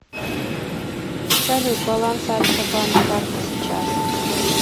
салют баланс альфа банк карты сейчас